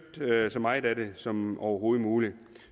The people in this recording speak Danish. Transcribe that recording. så meget af det som overhovedet muligt